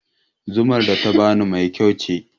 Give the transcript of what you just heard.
Zumar da ta bani mai kyau ce